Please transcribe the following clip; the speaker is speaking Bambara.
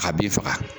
A bin faga